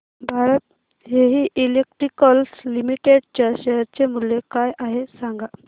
Bharat heavy electricals limited च्या share चे मूल्य काय आहे सांगा